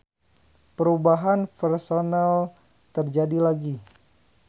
Perubahan personel terjadi lagi.